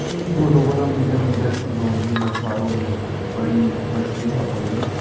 ईं फोटो पर हम जन देख सक्दों की मछवारों ने एक बड़ी मछ्ली छ पकड़ीं।